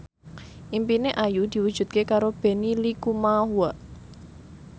impine Ayu diwujudke karo Benny Likumahua